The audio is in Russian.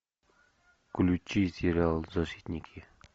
включи сериал защитники